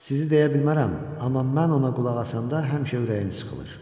Sizi deyə bilmərəm, amma mən ona qulaq asanda həmişə ürəyim sıxılır.